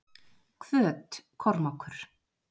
Hvöt- Kormákur